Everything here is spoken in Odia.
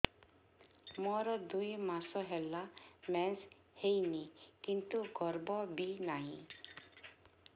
ମୋର ଦୁଇ ମାସ ହେଲା ମେନ୍ସ ହେଇନି କିନ୍ତୁ ଗର୍ଭ ବି ନାହିଁ